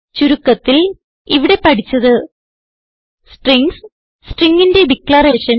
ചുരുക്കത്തിൽ ഇവിടെ പഠിച്ചത് സ്ട്രിംഗ്സ് stringന്റെ ഡിക്ലറേഷൻ